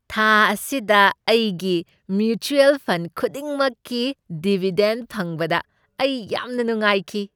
ꯊꯥ ꯑꯁꯤꯗ ꯑꯩꯒꯤ ꯃ꯭ꯌꯨꯆꯨꯑꯜ ꯐꯟꯗ ꯈꯨꯗꯤꯡꯃꯛꯀꯤ ꯗꯤꯚꯤꯗꯦꯟ꯭ꯗ ꯐꯪꯕꯗ ꯑꯩ ꯌꯥꯝꯅ ꯅꯨꯡꯉꯥꯏꯈꯤ꯫